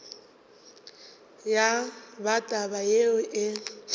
ya ba taba yeo e